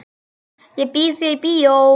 Ég býð þér í bíó.